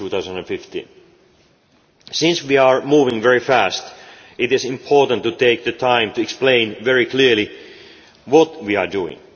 2015. Since we are moving very fast it is important to take the time to explain very clearly what we are doing.